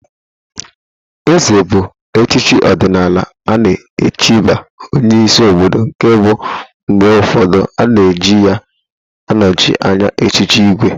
Ézè bụ echichi ọdịnala a na-echibu onyeisi obodo nke bụ mgbe ụfọdụ a na-eji ya anọchị anya echiche ìgwè.